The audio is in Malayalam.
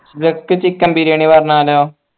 ഉച്ചയ്ക്ക് chicken ബിരിയാണി പറഞ്ഞാലോ